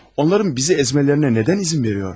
Onların bizi əzmələrinə nədən izin verilir?